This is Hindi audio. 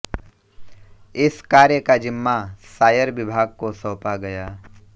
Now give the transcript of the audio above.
इस कार्य का जिम्मा सायर विभाग को सौंपा गया